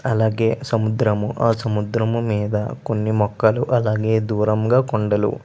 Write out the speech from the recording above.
అలాగే ఆ సముద్రం ఆ సముద్ర మీద కొన్ని మొక్కలు అలాగే దూరం గ కొండల్లు.